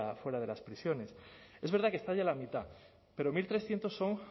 fuera de las prisiones es verdad que está ya la mitad pero mil trescientos son